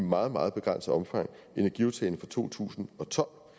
meget meget begrænset omfang energiaftalen fra to tusind og tolv